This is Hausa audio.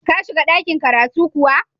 Ka shiga ɗakin kiratu kuwa?